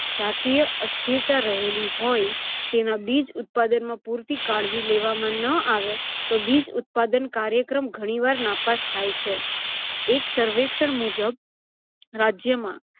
જાતીય અસ્થિરતા રહેલી હોય. તેના બીજ ઉત્પાદનમાં પુરતી કાળજી લેવામાં ન આવે તો બીજ ઉત્પાદન કાયૅક્રમ ઘણીવાર નાપાસ થાય છે. એક સવેૅક્ષણ મુજબ રાજ્યમાં